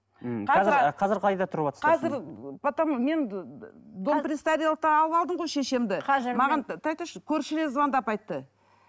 мхм қазір қайда тұрыватсыз қазір потом мен дом пристарелыхтен алып алдым ғой шешемді маған тұра тұршы көршілер звондап айтты